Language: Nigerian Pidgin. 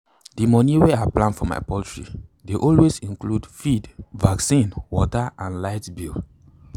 d moni wey i plan for my poultry dey always include feed vaccine water and light bill.